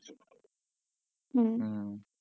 হম হম